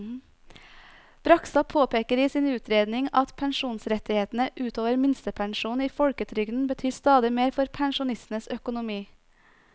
Bragstad påpeker i sin utredning at pensjonsrettighetene ut over minstepensjonen i folketrygden betyr stadig mer for pensjonistenes økonomi.